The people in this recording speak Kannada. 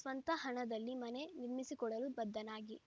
ಸ್ವಂತ ಹಣದಲ್ಲಿ ಮನೆ ನಿರ್ಮಿಸಿಕೊಡಲು ಬದ್ದನಾಗಿ